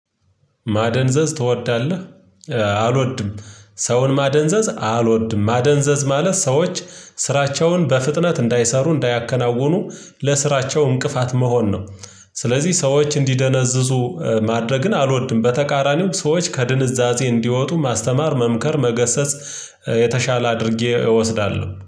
ማደንዘዝ ትወዳለህ? አልወድም። ሰውን ማደንዘዝ አልወድም ማደንዘዝ ማለት ሰዎች ስራቸውን በፍጥነት እንዳይሰሩ እንዳያከናውኑ ለስራቸው እንቅፋት መሆን ነው። ስለዚህ ሰዎች እንዲደነዝዙ ማድረግን አልወድም። በተቃራኒው ሰዎች ከድንዛዜ እንዲወጡ ማስተማር መምከር መገሰጽ የተሻለ አድርጌ እወስዳለሁ